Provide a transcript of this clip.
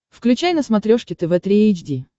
включай на смотрешке тв три эйч ди